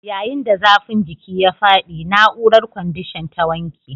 Yayin da zafin jiki ya faɗi, na'urar kwandishan ta wanke